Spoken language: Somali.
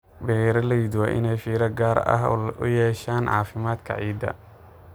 Beeralayda waa inay fiiro gaar ah u yeeshaan caafimaadka ciidda.